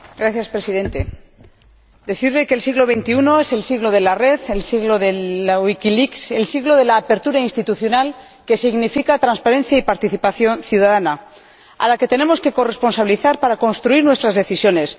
Señor Presidente, quiero decirle que el siglo XXI es el siglo de la red, el siglo de el siglo de la apertura institucional, que significa transparencia y participación ciudadana, a la que tenemos que corresponsabilizar para construir nuestras decisiones.